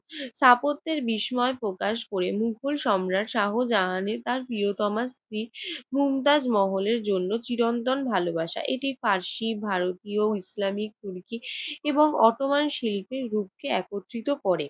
স্থাপত্যের বিস্ময় প্রকাশ করে মোগল সম্রাট শাহজাহান তার প্রিয়তমা স্ত্রী মমতাজ মহলের জন্য চিরন্তন ভালোবাসা। এটি ফারসি, ভারতীয়, ইসলামিক, তুর্কী এবং অটোম্যান শিল্পের রূপকে একত্রিত করে।